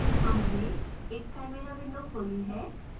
यहाँ मैंने एक chimera window खोली है